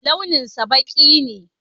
Launinsa ɓaki ne.